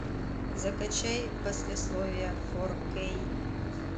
закачай послесловие фор кей